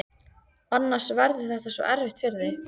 Annars verður þetta svo erfitt fyrir þig.